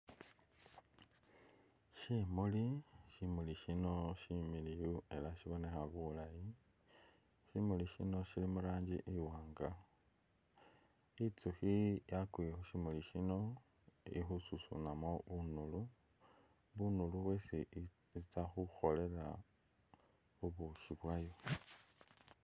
Shimuli, shimuli shino shimiliyu era shibonekha bulayi, shimuli shino shili mu rangi iwanga, itsukhi yakwiye khu shimuli shino ili khususunamo bunulu, bunulu bwesi itsa khukholela bu bushi bwayo.